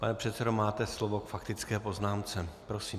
Pane předsedo, máte slovo k faktické poznámce, prosím.